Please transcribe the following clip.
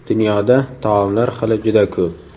Dunyoda taomlar xili juda ko‘p.